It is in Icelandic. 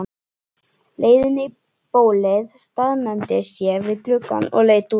leiðinni í bólið staðnæmdist ég við gluggann og leit út.